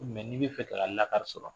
n'i bɛ fɛ k'a lakari sɔrɔ.